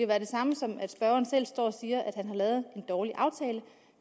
være det samme som at spørgeren står og siger at han har lavet en dårlig aftale